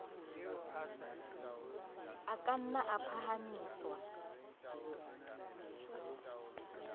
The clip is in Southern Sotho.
a ka na a phahamiswa